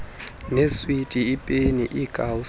neeswiti iipeni iikawusi